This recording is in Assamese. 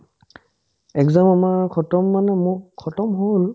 exam আমাৰ khatam মানে মোক khatam হ'ল